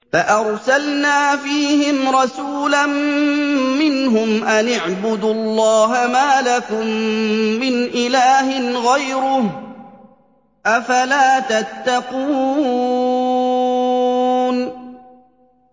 فَأَرْسَلْنَا فِيهِمْ رَسُولًا مِّنْهُمْ أَنِ اعْبُدُوا اللَّهَ مَا لَكُم مِّنْ إِلَٰهٍ غَيْرُهُ ۖ أَفَلَا تَتَّقُونَ